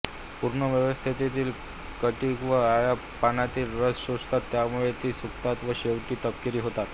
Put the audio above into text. पूर्णावस्थेतील कीटक व अळ्या पानांतील रस शोषतात त्यामुळे ती सुकतात व शेवटी तपकिरी होतात